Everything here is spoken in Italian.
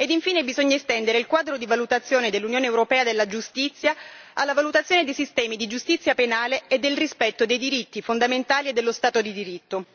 ed infine bisogna estendere il quadro di valutazione dell'Unione europea della giustizia alla valutazione dei sistemi di giustizia penale e del rispetto dei diritti fondamentali e dello Stato di diritto.